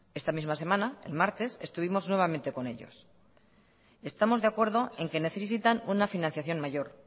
esta misma semana el martes estuvimos nuevamente con ellos estamos de acuerdo en que necesitan una financiación mayor